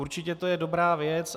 Určitě to je dobrá věc.